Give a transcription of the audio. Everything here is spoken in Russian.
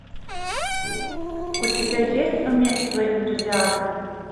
у тебя есть умерь свой энтузиазм